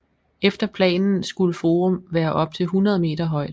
Efter planen skulle Forum være op til 100 meter højt